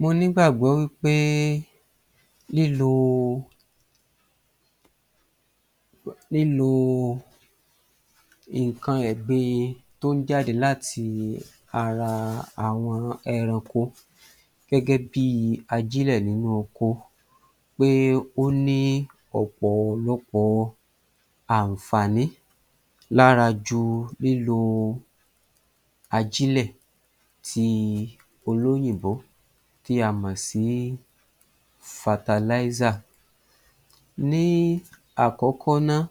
Mo nígbàgbó wí pé lílo lílo nǹkan ẹ̀gbin tó ń jáde láti ara àwọn ẹranko gẹ́gẹ́bí ajílẹ̀ nínú oko pé ó ní ọ̀pọ̀lọpọ̀ àǹfààní lára ju lílo ajílẹ̀ ti olóyìnbó tí a mọ̀ sí. Ní àkọ́kọ́ náà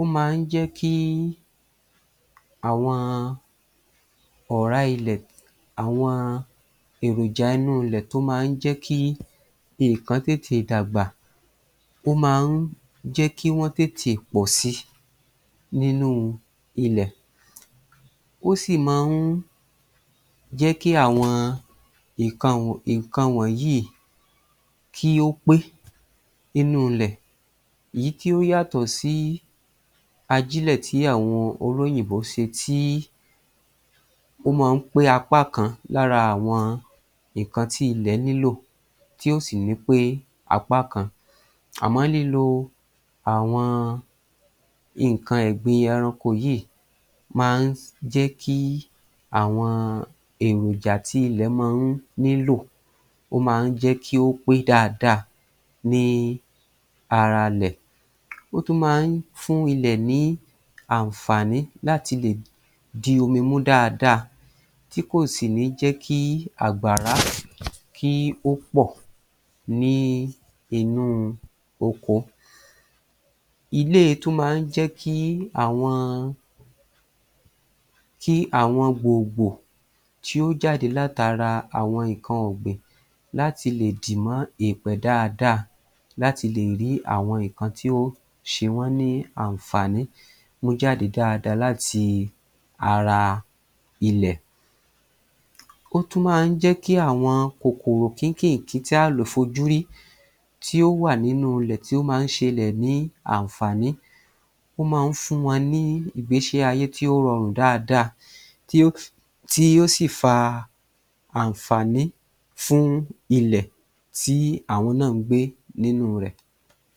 ó máa ń jẹ́kí àwọn ọ̀rá ilẹ̀ àwọn èròjà inú ilẹ̀ tó máa ń jẹ́kí nǹkan tètè dàgbà, ó máa ń jẹ́kí wọ́n tètè pọ̀ si nínú ilẹ̀. Ó sì máa ń jẹ́kí àwọn nǹkan nǹkan wọnyìí kí ó pé nínú ilẹ̀ ìyí tí ó yàtọ̀ sí ajílẹ̀ tí àwọn olóyìnbó ṣe tí ó máa ń pé apá kan lára àwọn nǹkan tí ilẹ̀ nílò tí ó sì ni pé apá kan. Àmọ́ lílo àwọn nǹkan ẹ̀gbin ẹranko yìí máa ń jẹ́kí àwọn èròjà tí ilẹ̀ máa ń nílò, ó máa ń jẹ́kí ó pé dáadáa ní ara lè. Ó tún máa ń fún ilẹ̀ ní àǹfààní láti lè di omi mú dáadáa tí kò sì ní jẹ́kí àgbàrá ó pọ̀ ní inú oko. Iléè tún máa ń jẹ́kí àwọn kí àwọn gbògbò tí ó jáde látara àwọn nǹkan ọ̀gbìn láti lè dìmọ́ èèpẹ̀ dáadáa láti lè rí àwọn nǹkan tí ó sewọ́n ní àǹfààní mú jáde dáadáa láti ara ilẹ̀. Ó tún máa ń jẹ́kí àwọn kòkòrò kínkìnkí tí á lò fojúrí tí ó wà nínú ilẹ̀ tí ó máa ń ṣelẹ̀ ní àǹfààní, ó máa ń fún wa ní ìgbésí ayé tí ó rọrùn dáadáa tí ó tí yóò sì fa àǹfààní fún ilẹ̀ tí àwọn náà ń gbé nínú rẹ̀.